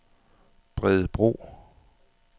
Bredebro